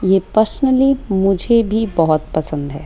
ये पर्सनली मुझे भी बहोत पसंद है।